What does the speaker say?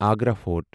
Agra fort